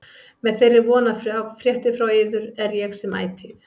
Með þeirri von að fá fréttir frá yður er ég sem ætíð